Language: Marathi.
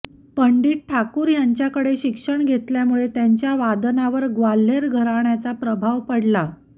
पंडित ठाकूर ह्यांच्याकडे शिक्षण घेतल्यामुळे त्यांच्या वादनावर ग्वाल्हेर घराण्याचा प्रभाव पडला